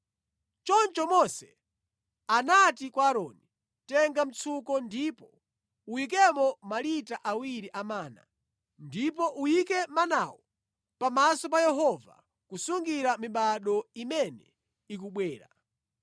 Choncho Mose anati kwa Aaroni, “Tenga mtsuko ndipo uyikemo malita awiri a mana. Ndipo uyike manawo pamaso pa Yehova kusungira mibado imene ikubwera.”